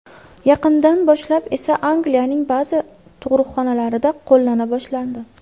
Yaqindan boshlab esa Angliyaning ba’zi tug‘ruqxonalarida qo‘llana boshlandi.